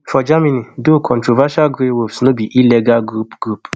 for germany though controversial grey wolves no be illegal group group